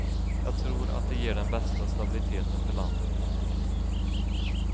Jag tror att det ger den bästa stabiliteten för landet.